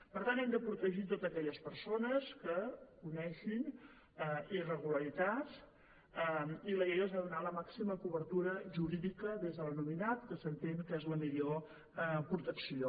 per tant hem de protegir totes aquelles persones que coneguin irregularitats i la llei els ha de donar la màxima cobertura jurídica des de l’anonimat que s’entén que és la millor protecció